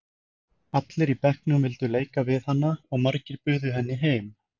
Allir í bekknum vildu leika við hana og margir buðu henni heim.